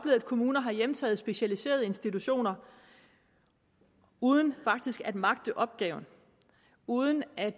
at kommuner har hjemtaget specialiserede institutioner uden faktisk at kunne magte opgaven uden at